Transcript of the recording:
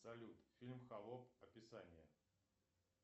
салют фильм холоп описание